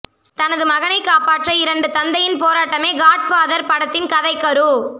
தனது மகனை காப்பாற்ற இரண்டு தந்தையின் போராட்டமே காட் ஃபாதர் படத்தின் கதைக்கரு